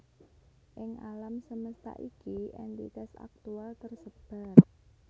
Ing alam semesta iki èntitas aktual tersebar